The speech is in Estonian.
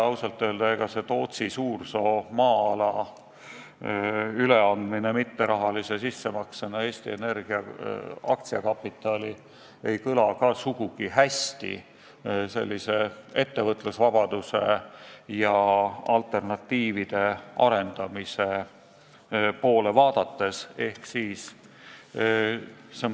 Ausalt öeldes, ega see Tootsi Suursoo maa-ala üleandmine mitterahalise sissemaksena Eesti Energia aktsiakapitali ei kõla ka ettevõtlusvabaduse ja alternatiivide arendamise mõttes sugugi hästi.